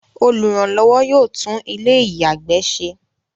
Olùrànlọ́wọ́ yóò tún ilé-ìyàgbẹ́ se.